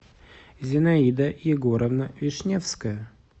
зинаида егоровна вишневская